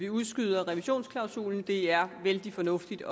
udskyder revisionsklausulen det er vældig fornuftigt